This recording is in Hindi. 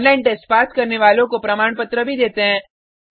ऑनलाइन टेस्ट पास करने वालों को प्रमाण पत्र भी देते हैं